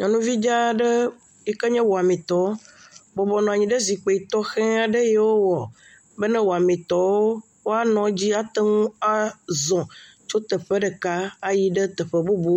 Nyɔnuvi dza aɖe yike nye wɔmitɔ bɔbɔnɔ anyi ɖe zikpui tɔxe aɖe yi wowɔ be ne wɔmitɔwo woanɔ edzi ate ŋu azɔ tso teƒe ɖeka ayi ɖe teƒe bubu.